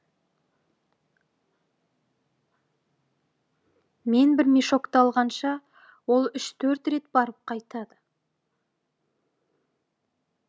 мен бір мешокті алғанша ол үш төрт рет барып қайтады